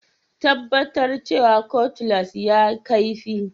Tabbatar cewa Cutlass ya kaifi